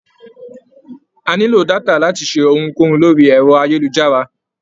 A nílò détà láti ṣe ohun kóhun lórí ẹ̀rọ-ayélujára.